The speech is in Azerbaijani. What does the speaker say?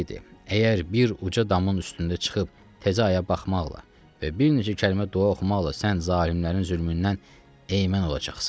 Əgər bir uca damın üstünə çıxıb təzə aya baxmaqla və bir neçə kəlmə dua oxumaqla sən zalimlərin zülmündən ey'mən olacaqsan.